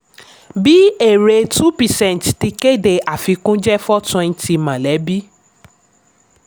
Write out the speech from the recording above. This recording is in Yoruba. bí èrè two percent ti kéde àfikún jẹ́ four twenty mọ̀lẹ́bí.